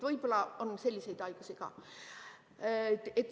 Võib-olla on selliseid haigusi ka.